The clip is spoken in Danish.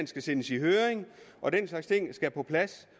skal sendes i høring og den slags ting skal på plads